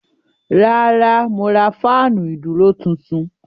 Rárá mo ra fáànù ìdúró tuntun.